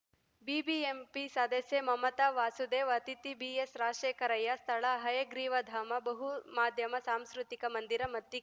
BBMP ಸದಸ್ಯೆ ಮಮತಾ ವಾಸುದೇವ್‌ ಅತಿಥಿ ಬಿಎಸ್‌ರಾಜಶೇಖರಯ್ಯ ಸ್ಥಳಹಯಗ್ರೀವ ಧಾಮ ಬಹುಮಾಧ್ಯಮ ಸಾಂಸ್ಕೃತಿಕ ಮಂದಿರ ಮತ್ತಿ